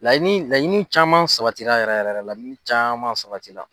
Laɲini laɲini caman sabatira yɛrɛ yɛrɛ laɲini caman sabatila.